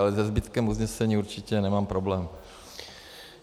Ale se zbytkem usnesení určitě nemám problém.